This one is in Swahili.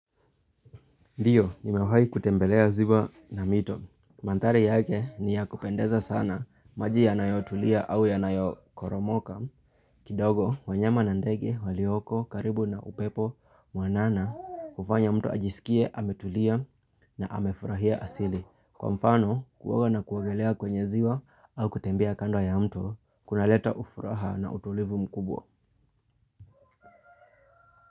Ndiyo nimewahi kutembelea ziwa na mito Mandhari yake ni ya kupendeza sana. Maji yanayotulia au yanayokoromoka kidogo. Wanyama na ndege walioko karibu na upepo mwanana hufanya mtu ajisikie ametulia na amefurahia asili. Kwa mfano kuoga na kuogelea kwenye ziwa au kutembea kando ya mto kunaleta ufuraha na utulivu mkubwa.